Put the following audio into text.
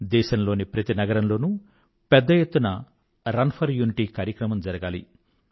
దేశం లోని ప్రతి నగరంలోనూ పెద్ద ఎత్తున రన్ ఫర్ యూనిటీ కార్యక్రమం జరగాలి